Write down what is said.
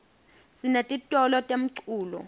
sinetitolo temculo